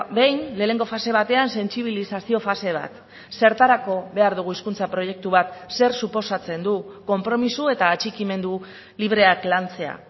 behin lehenengo fase batean sentsibilizazio fase bat zertarako behar dugu hizkuntza proiektu bat zer suposatzen du konpromiso eta atxikimendu libreak lantzea